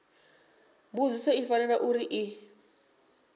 mbudziso i fanela uri i